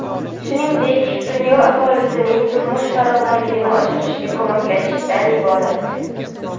shuningdek dunyo aholisining turmush farovonligini oshirishga ko‘maklashishdan iborat.